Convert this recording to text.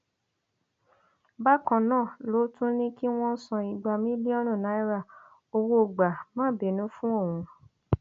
bákan náà ló tún ní kí wọn san igba mílíọnù náírà owó gbà má bínú fún òun